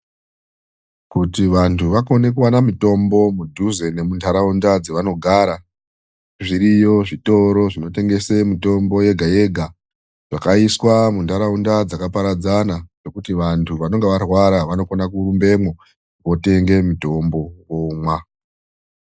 Kuti vanthu vakone mitombo mudhuze nemunharaunda dzavanogara, zviriyo zvitoro zvinotengese mitombo yega yega zvakaiswa munharaunda dzakaparadzana, yekuti vanthu vanenge varwara vanokone kurumbemwo votenge mitombo vomwa.